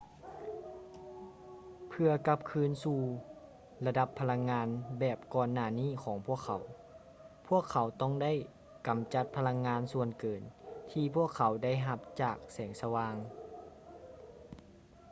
ເພື່ອກັບຄືນສູ່ລະດັບພະລັງງານແບບກ່ອນໜ້ານີ້ຂອງພວກເຂົາ ພວກເຂົາຕ້ອງໄດ້ກຳຈັດພະລັງງານສ່ວນເກີນທີ່ພວກເຂົາໄດ້ຮັບຈາກແສງສະຫວ່າງ